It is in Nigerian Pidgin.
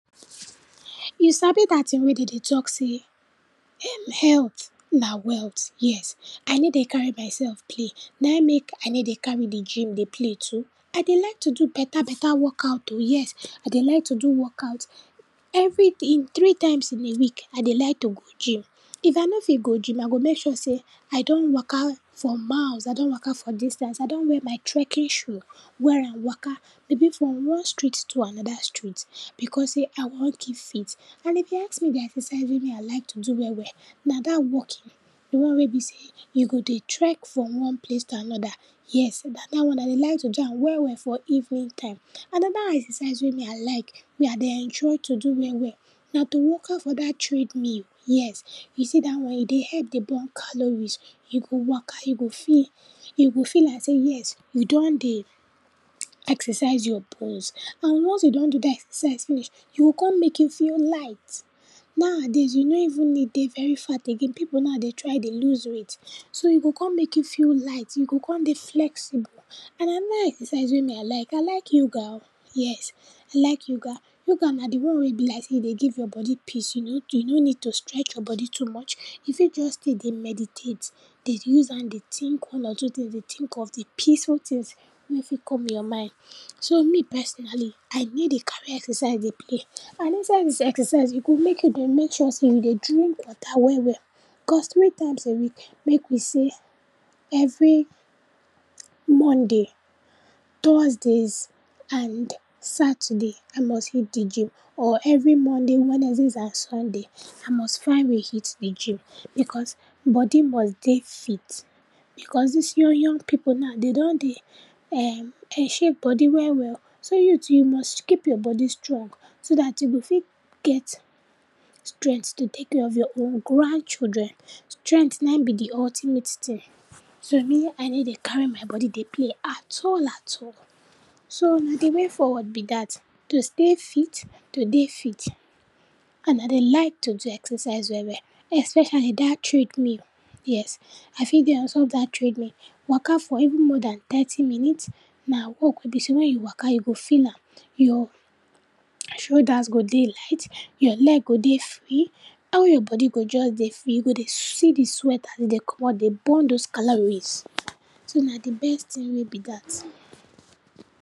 You sabi dat tin wey den dey talk sey um, healt na wealt, yes. I ney dey carry myself play, nai mek I ney dey carry di gym dey play too. I dey like to do beta beta workout o, yes, I dey like to do workout, every day, in three times in a week, I dey like to go gym, if I no fit go gym, I go mek sure sey I don waka for miles, I don waka for distance, I don wear my trekking shoe, wear am waka, maybe from one street to anoda street because sey I wan keep fit. And if you ask me di exercise wey me I like to do well well, na dat walking, di one wey be sey you go dey trek from one place to anoda, yes, na dat one, I dey like to do am well well for evening time. Anoda exrcise wey me I like, wey I dey enjoy to do well well na to waka for dat trade mill, yes. You see dat one, e dey help dey burn calories you go waka, you go feel, you go feel like sey yes you don dey exercise your bones. And ones you don do dat exercise finish, e go kon mek you feel light. Nowadays, you no even need dey very fat again, pipu now dey try dey lose weight, so you go kon mek you feel light, you go kon dey flexible. And anoda exercise wey me I like, I like yoga o, yes, I like yoga, yoga na di one wey be like sey you dey give your body peace, you no, you no need to stretch your body too much, you fit just stay dey meditate, dey use am dey tink one or two tins, dey tink of di peaceful moment wey fit come your mind. So, me personally, I ney dey carry exercise dey play, and inside dis exercise, e good mek you dey make sure sey you dey drink water well well cos three times in a week, mek we sey every Monday, Thursdays and Saturday, I must hit di gym or every Monday, Wednesdays and Sunday, I must find way hit di gym because body must dey fit. Because dis young young pipu now, den don dey um um shape body well well o, so you too, you must keep your body strong so dat you go fit get strengt to take care of your own grandchildren. Strengt na be di ultimate tin, so, me I ney dey carry my body dey play at all at all. So, na di way forward be dat, to stay fit, to dey fit and I dey like to do exercise well well, especially dat trade mill, yes, I fit dey ontop dat trade mill, waka for even more dan thirty minute, na walk wey be sey wen you waka you go feel am, your shoulders go dey light, your leg go dey free, all body go just dey free, you go dey see di sweat as den dey comot dey burm di calories, so na di best tin wey be dat.